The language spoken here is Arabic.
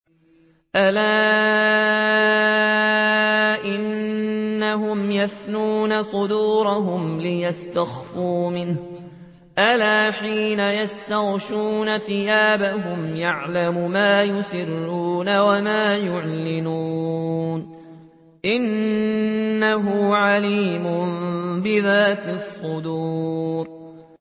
أَلَا إِنَّهُمْ يَثْنُونَ صُدُورَهُمْ لِيَسْتَخْفُوا مِنْهُ ۚ أَلَا حِينَ يَسْتَغْشُونَ ثِيَابَهُمْ يَعْلَمُ مَا يُسِرُّونَ وَمَا يُعْلِنُونَ ۚ إِنَّهُ عَلِيمٌ بِذَاتِ الصُّدُورِ